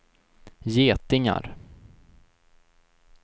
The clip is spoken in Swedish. getingar